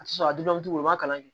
A tɛ sɔn a dugumacogo ma kalan kɛ